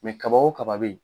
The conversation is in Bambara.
kaba wo kaba be yen